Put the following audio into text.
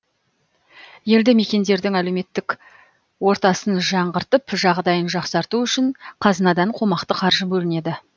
елді мекендердің әлеуметтік ортасын жаңғыртып жағдайын жақсарту үшін қазынадан қомақты қаржы бөлінеді